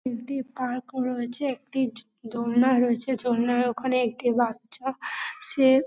একটি পার্ক রয়েছে একটি দোনলা রয়েছে দোনলার ওখানে একটি বাচ্চা সে--